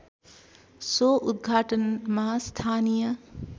so उदघाटनमा स्थानीय